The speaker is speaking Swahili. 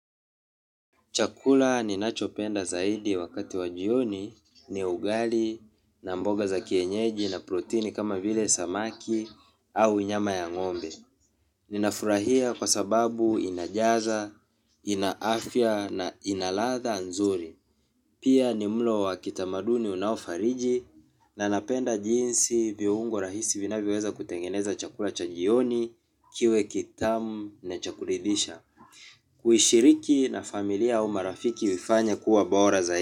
Chakula ninachopenda zaidi wakati wa jioni ni ugali na mboga za kienyeji na protini kama vile samaki au nyama ya ng'ombe. Ninafurahia kwa sababu inajaza, inaafya na inaladha nzuri. Pia ni mlo wa kitamaduni unaofariji na napenda jinsi viungo rahisi vinavyoweza kutengeneza chakula cha jioni kiwe kitamu na cha kuridhisha. Kuishiriki na familia au marafiki uifanya kuwa bora zai.